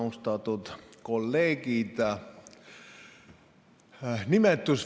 Austatud kolleegid!